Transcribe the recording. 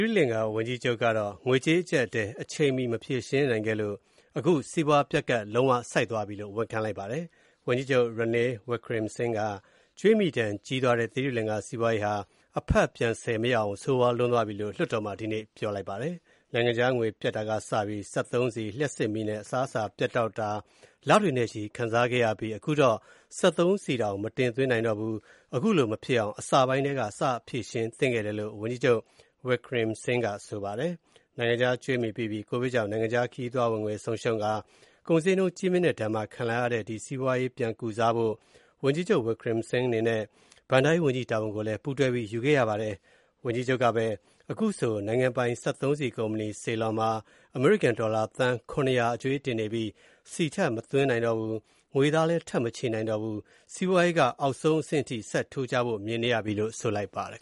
ရိလင်္ကာ ဝန်ကြီးချုပ်က ငွေကြေးအကြပ်အတည်း အချိန်မီ မဖြေရှင်းနိုင်ခဲ့လို့ အခု စီးပွားပျက်ကပ် လုံးဝဆိုက်သွားပြီလို့ ဝန်ခံလိုက်ပါတယ်။ ဝန်ကြီးချုပ် Ranil Wickremesinghe က ကြွေးမြီဒဏ်ကြီးသွားတဲ့ သီရိလင်္ကာစီးပွားရေးဟာ အဖတ်ပြန်ဆယ်မရအောင် ဆိုးဝါးလွန်းသွားပြီလို့ လွှတ်တော်မှာ ဒီနေ့ ပြောလိုက်ပါတယ်။ နိုင်ငံခြားငွေပြတ်တာကစပြီး စက်သုံးဆီ၊ လျှပ်စစ်မီးနဲ့ အစားအစာ ပြတ်တောက် တာ လတွေနဲ့ချီ ခံစားခဲ့ရပြီး အခုတော့ စက်သုံးဆီတောင် မတင်သွင်းနိုင်တော့ဘူး၊ အခုလိုမဖြစ်အောင် အစပိုင်းထဲက စဖြေရှင်းခဲ့သင့်တာလို့ ဝန်ကြီးချုပ် Wickremesinghe က ဆိုပါတယ်။ နိုင်ငံခြားကြွေးပိပြီး ကိုဗစ်ကြောင့် နိုင်ငံခြားခရီးသွားဝင်ငွေဆုံးရှုံးကာ၊ ကုန်ဈေးနှုန်းကြီးမြင့်ဒဏ်ခံပါခံလာရတဲ့ ဒီစီးပွားရေးပြန်ကုစားဖို့ ဝန်ကြီးချုပ် Wickremesinghe အနေနဲ့ ဘဏ္ဍာရေးဝန်ကြီးတာဝန်လည်း တွဲယူထားရပါတယ်။ ဝန်ကြီးချုပ်ကပဲ အခုဆို နိုင်ငံပိုင် စက်သုံးဆီ ကုမ္ပဏီ Ceylon မှာ အမေရိကန်ဒေါ်လာသန်း ၇၀၀ ကြွေးတင်နေပြီး ဆီထပ်မသွင်းနိုင်တော့ဘူး၊ ငွေသားလည်း ထပ်မချေးနိုင်တော့ဘူး၊ စီးပွားရေးက အောက်ဆုံးအဆင့်ထိ ဆက်ထိုးကျဖို့မြင်နေရပြီလို့ ဆိုလိုက်ပါတယ်။